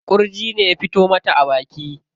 Ƙurji ne ya fito mata a baki.